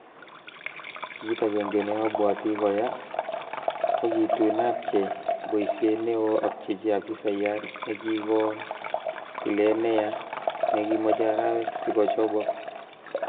Kit agenge neobwoti koyaa, ko kitun apchei boisiet neo apchechi afisayat nekikoon tilet neyaa nekimoche arawek sikochobok.